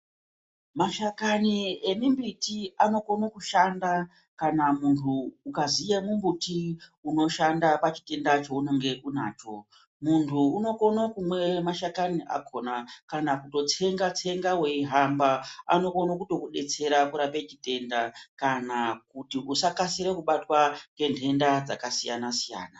Mashakani emibiti anokone kushanda kana muntu ukaziye mumbuti unoshanda pachitenda chaunenge unacho muntu unokone kumwe mashakani akona kana kutsenga tsenga weihamb anokone kuto kudetsera kurape chitenda kana kuti usakaisire kubatwa ngenhenda dzakasiyana siyana.